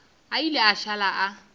a ile a šala a